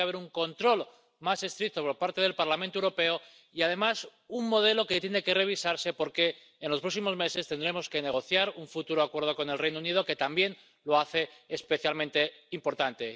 tiene que haber un control más estricto por parte del Parlamento Europeo y, además, el modelo tiene que revisarse porque en los próximos meses tendremos que negociar un futuro acuerdo con el Reino Unido, que también lo hace especialmente importante.